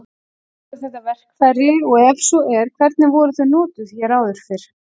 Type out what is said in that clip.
Voru þetta verkfæri og ef svo er hvernig voru þau notuð hér áður fyrr?